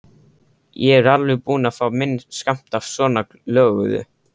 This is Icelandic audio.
Ég er alveg búinn að fá minn skammt af svonalöguðu.